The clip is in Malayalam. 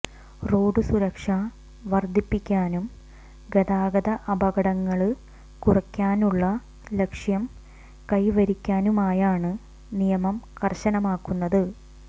റോഡ് സുരക്ഷ വര്ദ്ധിപ്പിക്കാനും ഗതാഗത അപകടങ്ങള് കുറയ്ക്കാനുള്ള ലക്ഷ്യം കൈവരിക്കാനുമായാണ് നിയമം കര്ശനമാക്കുന്നത്